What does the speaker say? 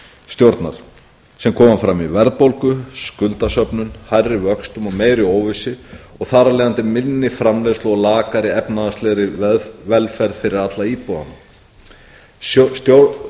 sem koma fram í verðbólgu skuldasöfnun hærri vöxtum og meiri óvissu og þar af leiðandi minni framleiðslu og lakari efnahagslegri velferð fyrir alla íbúana